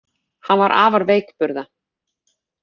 Hann var afar veikburða